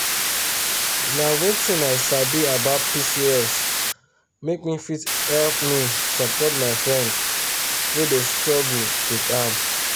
nh wetin i sabi about pcos make me fit help me support my friend wey dey struggle with am.